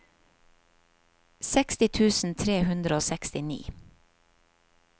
seksti tusen tre hundre og sekstini